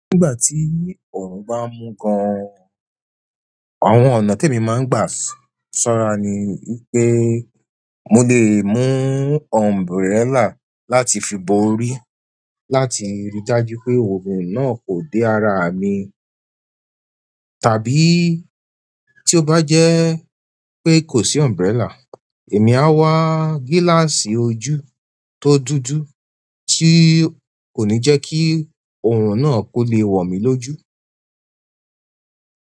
Nígbà tí òrùn ba n mú gán, àwọn ọ̀nà ti emi maa n gba sanra ni wípé mo lè mú umbrella láti fi bo orí láti fi ri dájú wípé òrùn náà kò dé àrà mi, tàbí tí ó bá jẹ́ pé kò sí umbrella, èmi á wá gíláàsì ojú tó dúdú tí kò ní jẹ́ kí òòrùn náà kó le wọ̀ mí lójú.